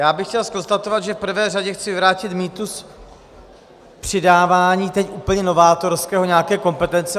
Já bych chtěl konstatovat, že v prvé řadě chci vyvrátit mýtus přidávání teď úplně novátorského nějaké kompetence.